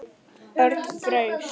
Örn fraus.